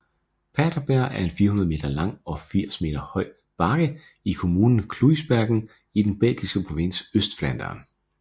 Paterberg er en 400 meter lang og 80 meter høj bakke i kommunen Kluisbergen i den belgiske provins Østflandern